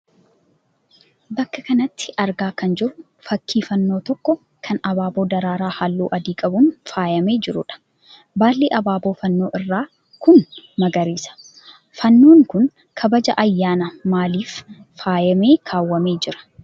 Bakka kanatti argaa kan jirru fakkii fannoo tokkoo kan abaaboo daraaraa halluu adii qabuun faayyamee jiruudha. Baalli abaaboo fannoo irraa kun magariisa. Fannoon kun kabaja ayyaana maaliif faayyamee kaawwamee jira?